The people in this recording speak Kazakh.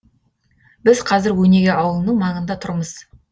біз қазір өнеге ауылының маңында тұрмыз